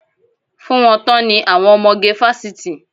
Fún wọn tán ni àwọn ọmọge fásitì.